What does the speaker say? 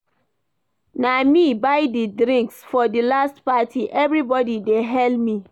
Na me buy di drinks for di last party, everybody dey hail me.